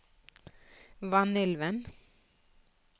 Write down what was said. Vanylven